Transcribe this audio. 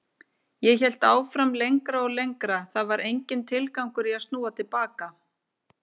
Ég hélt áfram lengra og lengra, það var enginn tilgangur í að snúa til baka.